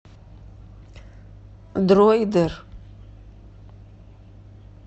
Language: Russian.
дроидер